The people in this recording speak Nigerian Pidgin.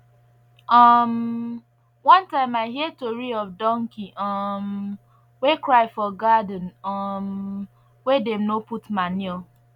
um one time i hear tori of donkey um wey cry for garden um wey dem no put manure